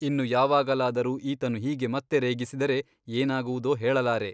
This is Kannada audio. ಇನ್ನು ಯಾವಾಗಲಾದರೂ ಈತನು ಹೀಗೆ ಮತ್ತೆ ರೇಗಿಸಿದರೆ ಏನಾಗುವುದೋ ಹೇಳಲಾರೆ.